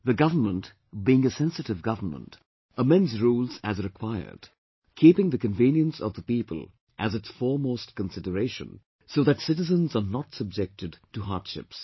The government, being a sensitive government, amends rules as required, keeping the convenience of the people as its foremost consideration, so that citizens are not subjected to hardships